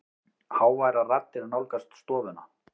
Háværar raddir nálgast stofuna.